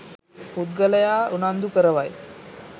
පුද්ගලයා උනන්දු කරවයි.